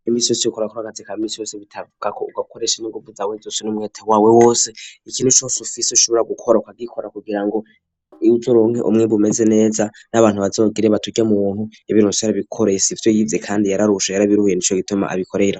Imisi yose yokora kurakazeka imisi yose bitavuga ko ugakoresha niguvuzawezose n'umweta wawe wose ikintu cose ufise ushobora kugikora kwagikora kugirango uje uronka umwimbu umeze neza n'abantu bazogire bati uryamuntu yabironse yarabikoreye sivyo yize kandi yararusha yarabiruhuye nicho gituma abikorera.